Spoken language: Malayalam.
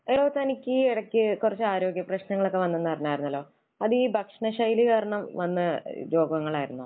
എടോ തനിക്ക് ഈ ഇടയ്ക്ക് കുറച്ച് ആരോഗ്യപ്രശ്നങ്ങൾ ഒക്കെ വന്നു എന്ന് അറിഞ്ഞായിരുന്നല്ലോ. അത് ഈ ഭക്ഷണശൈലി കാരണം വന്ന രോഗങ്ങൾ ആയിരുന്നോ?